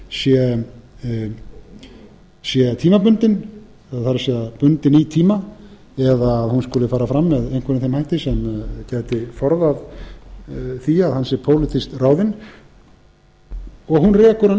ráðning hans sé tímabundin það er bundin í tíma eða að hún skuli fara fram með einhverjum þeim hætti sem gæti forðað því að hann sé pólitískt ráðinn og hún rekur